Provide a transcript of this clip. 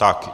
Tak.